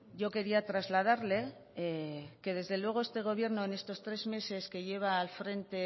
yo quería trasladarle que desde luego este gobierno en estos tres meses que lleva al frente